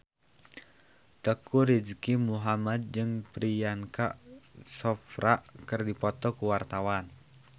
Teuku Rizky Muhammad jeung Priyanka Chopra keur dipoto ku wartawan